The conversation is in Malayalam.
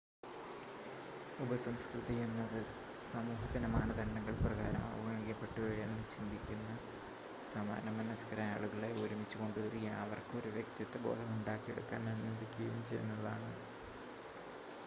ഉപസംസ്കൃതി എന്നത് സമൂഹത്തിൻ്റെ മാനദണ്ഡങ്ങൾ പ്രകാരം അവഗണിക്കപ്പെട്ടു എന്ന് ചിന്തിക്കുന്ന സമാന മനസ്ക്കരായ ആളുകളെ ഒരുമിച്ച് കൊണ്ടുവരികയും അവർക്ക് ഒരു വ്യക്തിത്വ ബോധം ഉണ്ടാക്കിയെടുക്കാൻ അനുവദിക്കുകയും ചെയ്യുന്നതാണ്